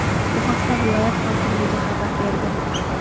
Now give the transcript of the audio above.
Bu haqda viloyat hokimligi xabar berdi.